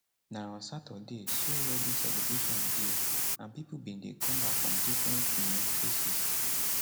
na on saturday so wedding celebration dey and pipo bin dey come back from different um places